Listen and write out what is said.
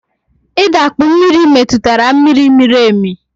I dakpu mmiri metụtara mmiri miri emi